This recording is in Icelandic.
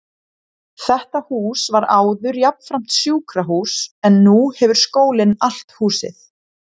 Þetta hús var áður jafnframt sjúkrahús, en nú hefur skólinn allt húsið.